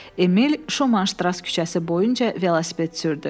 Emil Şomanştras küçəsi boyunca velosiped sürdü.